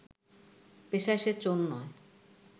পেশায় সে চোর নয়